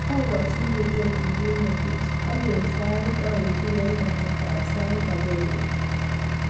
akokchiningei Virginia beach ak eng sai aitu eng kasartab saait agenge key